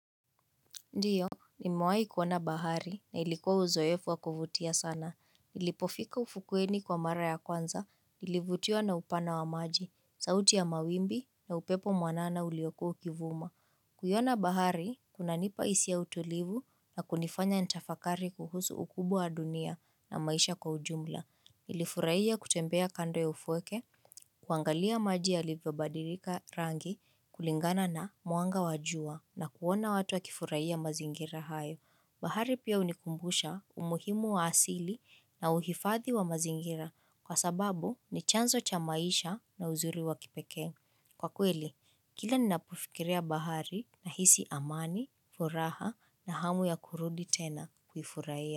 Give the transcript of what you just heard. Ndiyo, nimewahi kuona bahari na ilikuwa uzoefu wakuvutia sana. Nilipofika ufukweni kwa mara ya kwanza, nilivutiwa na upana wa maji, sauti ya mawimbi na upepo mwanana uliokuwa ukivuma. Kuiona bahari, kunanipa hisia ya utulivu na kunifanya nitafakari kuhusu ukubwa wa dunia na maisha kwa ujumla. Nilifurahia kutembea kando ya ufweke, kuangalia maji yalivyobadilika rangi, kulingana na mwanga wa jua na kuona watu wa kifurahia mazingira hayo. Bahari pia hunikumbusha umuhimu wa asili na uhifadhi wa mazingira kwa sababu ni chanzo cha maisha na uzuri wa kipekee. Kwa kweli, kila ninapofikiria bahari nahisi amani, furaha na hamu ya kurudi tena kuifurahia.